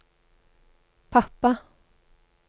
pappa